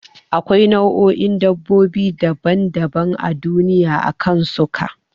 Da akwai nau'o'in dabbobi daban daban a duniya akan suka